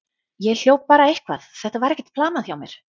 Ég hljóp bara eitthvað, þetta var ekkert planað hjá mér.